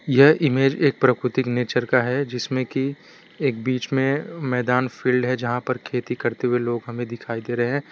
यह इमेज एक प्रकृति नेचर का है जिसमें की एक बीच में मैदान फिल्ड़ है जहाँ पर खेती करते हुए लोग हमें दिखाई दे रहे--